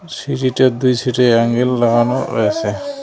সিঁড়িটার দুই সাইডে অ্যাঙ্গেল লাগানো রয়েছে।